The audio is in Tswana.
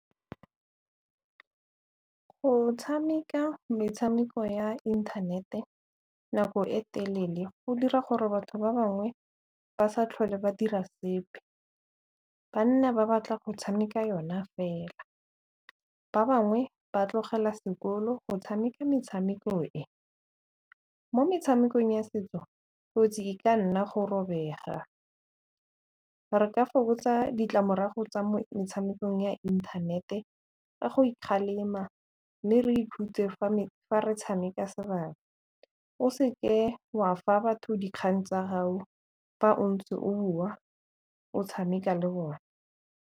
Go tshameka metshameko ya inthanete nako e telele go dira gore batho ba bangwe ba sa tlhole ba dira sepe, ba nna ba batla go tshameka yona fela. Ba bangwe ba tlogela sekolo go tshameka metshameko e. Mo metshamekong ya setso kotsi e ka nna go robega, re ka fokotsa ditlamorago tsa mo metshamekong ya inthanete ka go ikgalema mme re ikhutse fa re tshameka, o se ke wa fa batho dikgang tsa hao fa o ntse o bua o tshameka le bone.